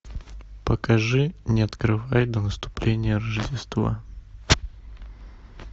покажи не открывай до наступления рождества